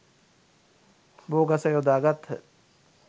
බෝ ගස යොදා ගත්හ.